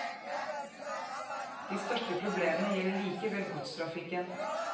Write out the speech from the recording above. De største problemene gjelder likevel godstrafikken.